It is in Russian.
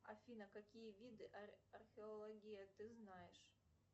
афина какие виды археологии ты знаешь